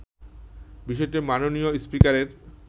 বিষয়টি মাননীয় স্পিকারের